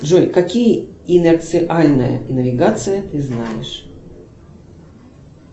джой какие инерциальные навигации ты знаешь